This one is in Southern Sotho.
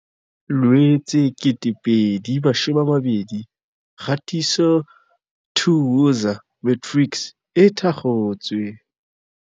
Loetse 2020 Kgatiso 2 Woza Matrics e thakgotswe.